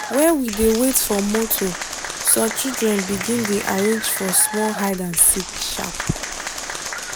when we dey wait for motor some children begin dey arrange for small hide and seek sharp